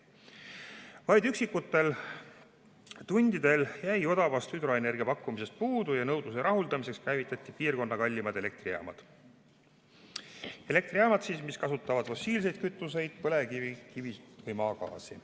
Vaid üksikutel tundidel jäi odavast hüdroenergiapakkumisest puudu ja nõudluse rahuldamiseks käivitati piirkonna kallimad elektrijaamad, mis kasutavad fossiilseid kütuseid: põlevkivi, kivisütt või maagaasi.